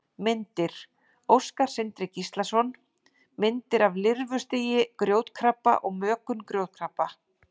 Myndir: Óskar Sindri Gíslason: Myndir af lirfustigi grjótkrabba og mökun grjótkrabba.